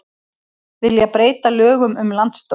Vilja breyta lögum um landsdóm